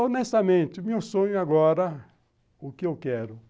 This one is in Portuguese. Honestamente, meu sonho agora, o que eu quero?